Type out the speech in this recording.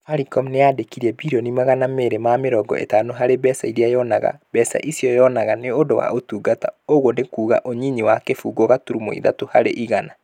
Safaricom nĩ yaandĩkire birioni magana mere ma mirongo itano harĩ mbeca iria yonaga. Mbeca ici yonaga nĩ ũndũ wa ũtungata. ũguo nĩ kuuga nĩ ũnyinyi na kĩbũgũ gaturumo ithatũ harĩ igana.